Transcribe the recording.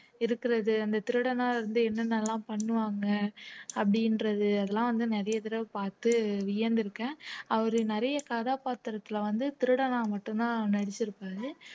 இருக்கிறது அந்த திருடனா இருந்து என்னென்னலாம் பண்ணுவாங்க அப்படின்றது அதெல்லாம் வந்து நிறைய தடவை பார்த்து வியந்திருக்கேன் அவரு நிறைய கதாபாத்திரத்துல வந்து திருடனா மட்டும்தான் நடிச்சிருப்பாரு